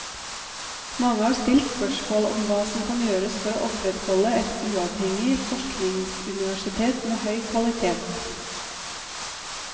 Mange har stilt spørsmål om hva som kan gjøres for å opprettholde et uavhengig forskningsuniversitet med høy kvalitet.